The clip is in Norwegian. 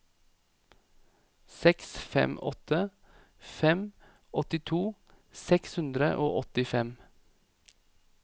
seks fem åtte fem åttito seks hundre og åttifem